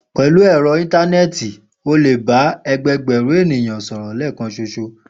Pè̩lú è̩ro̩ íńtáné̩è̩tì, o lè bá e̩gbe̩gbè̩rún ènìyàn sòrò̩ lé̩è̩kan s̩oṣo